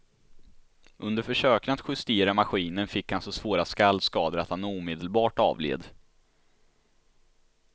Under försöken att justera maskinen fick han så svåra skallskador att han omedelbart avled.